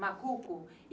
Macuco?